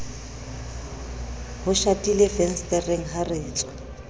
ho shatilefensetereng ha re tswaa